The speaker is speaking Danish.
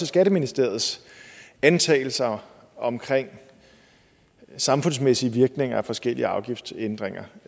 skatteministeriets antagelser omkring samfundsmæssige virkninger af forskellige afgiftsændringer